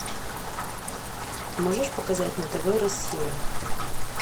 можешь показать на тв россия